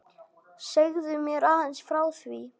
Segðu mér aðeins frá því?